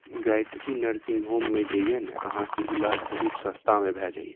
Gayatri nursing home में जे ये नए आहां के इलाज बहुत सस्ता में भए जाए ये।